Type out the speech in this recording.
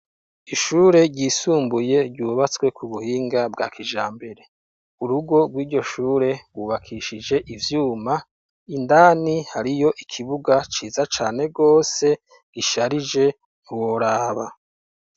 Ishure ryisumbuye ryubatswe ku buhinga bwa kijambere urugo rw'iryo shure gubakishije ivyuma, indani hariyo ikibuga ciza cane rwose gisharije ntiworaba.